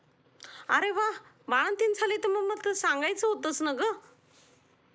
अरे वा! अग, बाळंतीण झाली तर मग तसं सांगायचस होतस ना ग!